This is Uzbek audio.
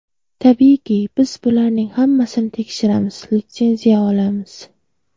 Tabiiyki, biz bularning hammasini tekshiramiz, litsenziya olamiz.